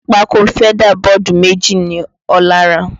Pákó feather board méjì ni Ọlá rà